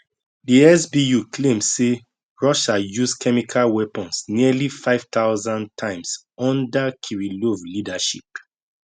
di sbu claim say russia use chemical weapons nearly 5000 times under kirillov leadership